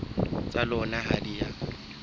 tsa lona ha di a